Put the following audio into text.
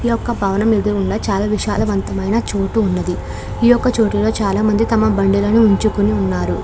ఈ యొక్క భవనం ఎదురుగుండా చాలా విశాలవంతమైన చోటు ఉంది. ఈ యొక్క చోటులో చాలామంది తమ బండులను ఉంచుకున్నారు.